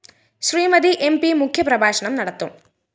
Shrimati M P മുഖ്യപ്രഭാഷണം നടത്തും